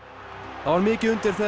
það var mikið undir þegar